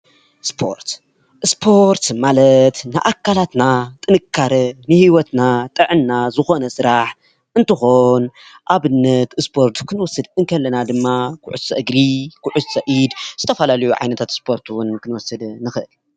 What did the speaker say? ስፖርት - ስፖርት ማለት ንኣካላትና ጥንካረ ንሂወትና ጥዕና ዝኮነ ስራሕ እንትኮን ኣብነት ስፖርት ክንወስድ ከለና ድማ ኩዕሶ እግሪ፣ ኩዕሶ ኢድ ዝተፈላለዩ ዓይነታት ስፖርት እዉን ክንወስድ ንክእል ።